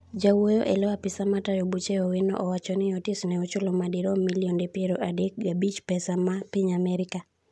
Jawuoyo eloo apisa matayo buche Owino owacho ni otis ne ochulo madirom milionde piero adek gabich pesa ma Piny Amerka